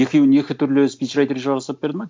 екеуін екі түрлі спичрайтер жасап берді ма